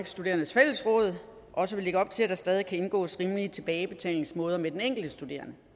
studerendes fællesråd også vi lægge op til at der stadig kan indgås rimelige tilbagebetalingsmåder med den enkelte studerende